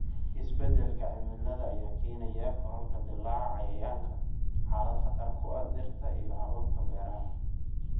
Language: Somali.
Isbeddelka cimilada ayaa keenaya kororka dillaaca cayayaanka, xaalad khatar ku ah dhirta iyo hababka beeraha.